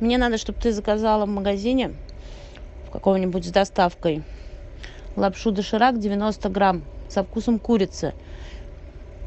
мне надо чтоб ты заказала в магазине в каком нибудь с доставкой лапшу доширак девяносто грамм со вкусом курицы